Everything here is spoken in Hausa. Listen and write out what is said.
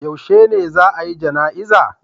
Yaushe ne za'a yi jana'iza?